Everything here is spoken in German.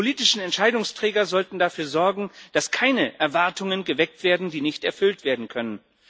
Die politischen Entscheidungsträger sollten dafür sorgen, dass keine Erwartungen geweckt werden, die nicht erfüllt werden können.